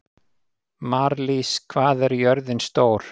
Marlís, hvað er jörðin stór?